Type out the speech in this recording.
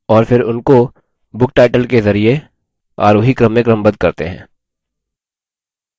और फिर उनको book title के जरिये आरोही क्रम में क्रमबद्ध करते हैं